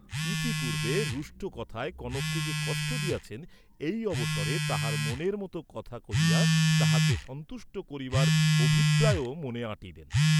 ইতিপূর্বে রুষ্ট কথায় কনককে যে কষ্ট দিয়াছেন, এই অবসরে তাহার মনের মত কথা কহিয়া তাহাকে সন্তুষ্ট করিবার অভিপ্রায়ও মনে আঁটিলেন।